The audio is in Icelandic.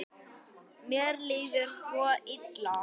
Mér líður svo illa.